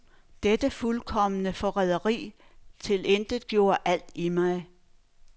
Dette fuldkomne forræderi tilintetgjorde alt i mig.